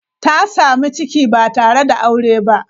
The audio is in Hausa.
Ta samu ciki ba tare da aure ba.